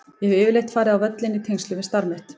Ég hef yfirleitt farið á völlinn í tengslum við starf mitt.